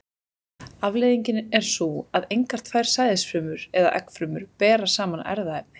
Afleiðingin er sú að engar tvær sæðisfrumur eða eggfrumur bera sama erfðaefni.